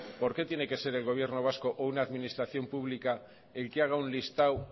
por qué tiene que se el gobierno vasco o una administración pública el que haga un listado